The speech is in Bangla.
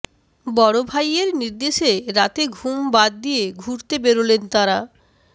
বড় ভাইয়ের নির্দেশে রাতে ঘুম বাদ দিয়ে ঘুরতে বেরোলেন তাঁরা